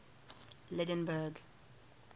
lydenburg